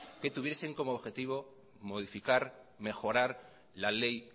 que tuviesen como objetivo mejorar la ley